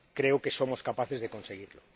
Creo que somos capaces de conseguirlo.